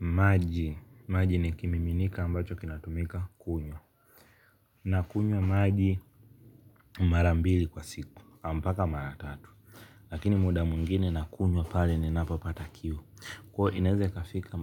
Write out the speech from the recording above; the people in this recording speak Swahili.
Maji, maji ni kimiminika ambacho kinatumika kunywa. Na kunywa maji mara mbili kwa siku mpaka mara tatu. Lakini muda mwingine nakunywa pale ninapopata kiu. Kwa hiyo inaweza kufika